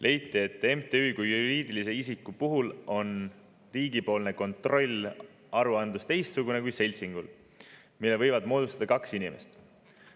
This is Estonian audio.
Leiti, et MTÜ kui juriidilise isiku puhul on riigipoolne kontroll, aruandlus teistsugune kui seltsingul, mille võivad moodustada ka kaks inimest.